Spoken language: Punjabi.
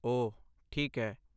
ਓਹ ਠੀਕ ਹੈ।